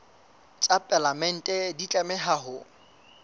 tsa palamente di tlameha ho